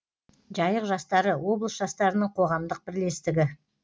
жайық жастары облыс жастарының қоғамдық бірлестігі